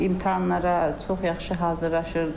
İmtahanlara çox yaxşı hazırlaşırdı.